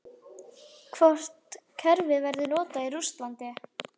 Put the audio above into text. Hvort kerfið verður notað í Rússlandi?